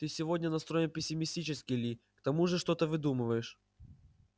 ты сегодня настроен пессимистически ли к тому же что-то выдумываешь